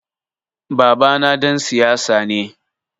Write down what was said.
Babana ɗan siyasa ne.